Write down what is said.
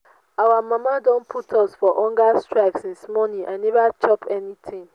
our mama don put us for hunger strike since morning i never chop anything